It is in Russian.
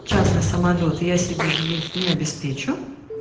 частный самолёт я себе здесь не обеспечу